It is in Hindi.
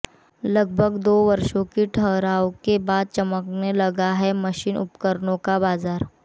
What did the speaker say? लगभग दो वर्षों के ठहराव के बाद चमकने लगा है मशीन उपकरणों का बाजार